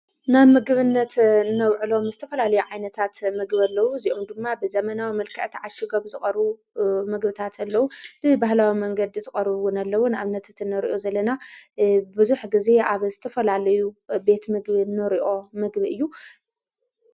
ናብ ምግብነት ነውዕሎም ስተፈላለዩ ዓይነታት ምግብ ኣለዉ እዚኡም ድማ ብዘመናዊ መልከአቲ ዓሽጐም ዝሩ ምግብታት ኣለዉ ብ በህላዊ መንገዲ ዝቐሩውን ኣለዉን ኣብ ነትእት ነርኦ ዘለና ብዙኅ ጊዜ ኣብ ዝተፈላልዩ ቤት ምግብ ነርእኦ ምግቢ እዩ።